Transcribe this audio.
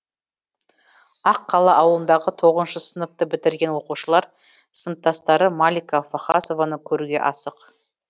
ақ қала ауылындағы тоғызыншы сыныпты бітірген оқушылар сыныптастары малика вахасованы көруге асық